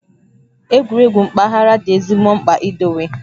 Egwuregwu mpaghara dị ezigbo mkpa idowe